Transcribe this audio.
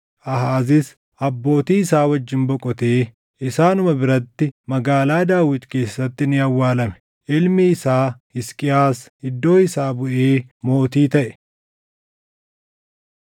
Aahaazis abbootii isaa wajjin boqotee isaanuma biratti Magaalaa Daawit keessatti ni awwaalame. Ilmi isaa Hisqiyaas iddoo isaa buʼee mootii taʼe.